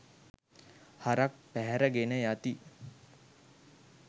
හරක් පැහැර ගෙන යති